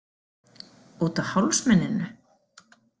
Út af hálsmeninu?